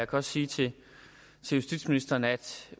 godt sige til justitsministeren at